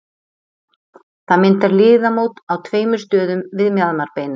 Það myndar liðamót á tveimur stöðum við mjaðmarbeinið.